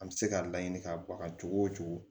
An bɛ se ka laɲini ka bɔ a la cogo o cogo